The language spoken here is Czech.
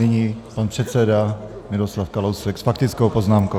Nyní pan předseda Miroslav Kalousek s faktickou poznámkou.